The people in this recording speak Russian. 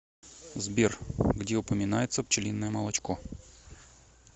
сбер где упоминается пчелиное молочко